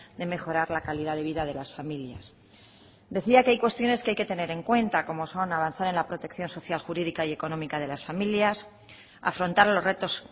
de mejorar la calidad de vida de las familias decía que hay cuestiones que hay que tener en cuenta como son avanzar en la protección social jurídica y económica de las familias afrontar los retos